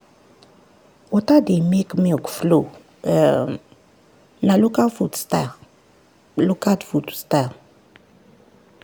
water dey make milk flow um na local food style. local food style.